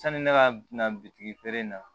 Sani ne ka na bitigi feere in na